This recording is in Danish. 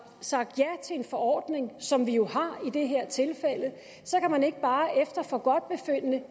sagt ja til en forordning som vi jo har i det her tilfælde så kan man ikke bare efter forgodtbefindende